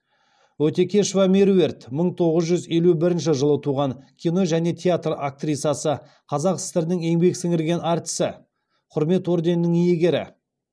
өтекешова меруерт мың тоғыз жүз елу бірінші жылы туған кино және театр актрисасы қазақ сср інің еңбек сіңірген артисі құрмет орденінің иегері